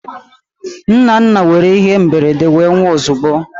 Nnanna nwere ihe mberede wee nwụọ ozugbo